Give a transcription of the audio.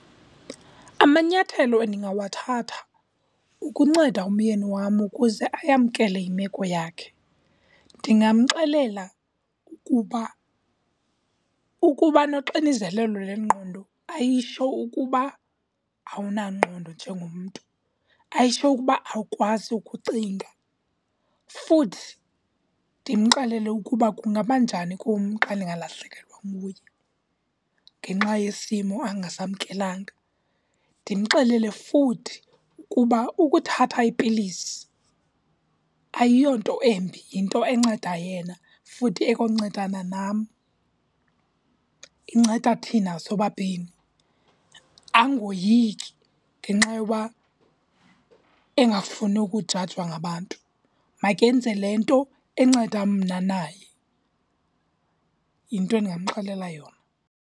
Amanyathelo endingawathatha ukunceda umyeni wam ukuze ayamkele imeko yakhe, ndingamxelela ukuba ukuba noxinzelelo lwengqondo ayitsho ukuba awunangqondo njengomntu, ayitsho ukuba awukwazi ukucinga. Futhi ndimxelele ukuba kungaba njani kum xa ndingalahlekelwa nguye ngenxa yesimo angasamkelanga. Ndimxelele futhi ukuba ukuthatha iipilisi ayiyonto embi, yinto enceda yena futhi ekwancedana nam. Inceda thina sobabini. Angoyiki ngenxa yoba engafuni ukujajwa ngabantu, makenze le nto enceda mna naye. Yinto endingamxelela yona.